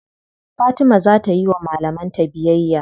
Fatima za ta yiwa malaman ta biyayya.